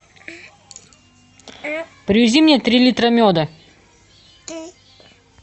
привези мне три литра меда